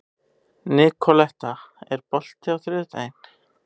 Nikoletta, er bolti á þriðjudaginn?